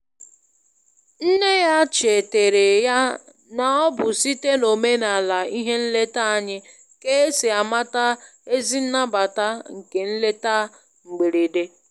Nne ya cheteere ya na ọ bụ site n'omenala ihe nleta anyị ka e si amata ezi nnabata nke nleta mgberede.